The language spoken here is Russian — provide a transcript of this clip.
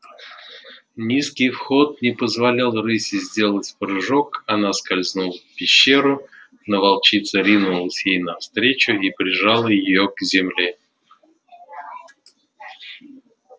низкий вход не позволял рыси сделать прыжок она скользнула в пещеру но волчица ринулась ей навстречу и прижала её к земле